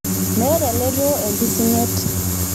Meta ele too empising'et.